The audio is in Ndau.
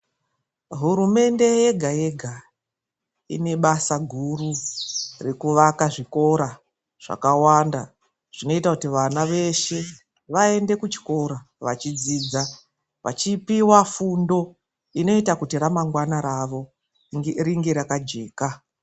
Hurumende yega yega inebasa guru rekuvaka zvikora zvakawanda zvinoita kuti vana veshe vaende kuchikora vachidzidza vachipiwa fundo inoita kuti ramangwana ravo ringe rakajeka.